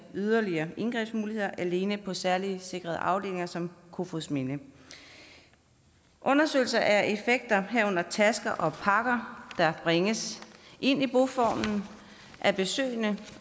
yderligere indgrebsmuligheder alene på særligt sikrede afdelinger som kofoedsminde undersøgelse af effekter herunder tasker og pakker der bringes ind i boformen af besøgende